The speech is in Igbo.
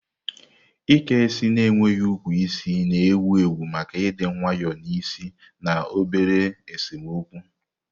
Ike isi na-enweghị ukwu isi na-ewu ewu maka ịdị nwayọọ n'isi na obere esemokwu.